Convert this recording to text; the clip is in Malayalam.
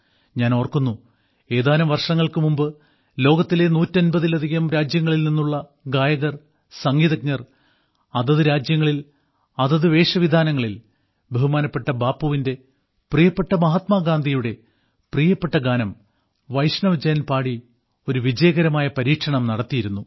ഞാൻ ഓർക്കുന്നു ഏതാനും വർഷങ്ങൾക്ക് മുമ്പ് ലോകത്തിലെ നൂറ്റമ്പതിലധികം രാജ്യങ്ങളിൽ നിന്നുള്ള ഗായകർസംഗീതജ്ഞർ അതത് രാജ്യങ്ങളിൽ അതത് വേഷവിധാനങ്ങളിൽ ബഹുമാനപ്പെട്ട ബാപ്പുവിന്റെ പ്രിയപ്പെട്ട മഹാത്മാഗാന്ധിയുടെ പ്രിയപ്പെട്ട ഗാനം വൈഷ്ണവ് ജൻ പാടി ഒരു വിജയകരമായ പരീക്ഷണം നടത്തിയിരുന്നു